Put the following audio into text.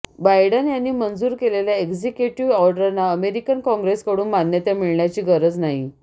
Biden यांनी मंजूर केलेल्या एक्झिक्युटिव्ह ऑर्डरना अमेरिकन काँग्रेसकडून मान्यता मिळण्याची गरज नाही